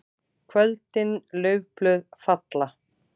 KVÖLDIN LAUFBLÖÐ FALLA.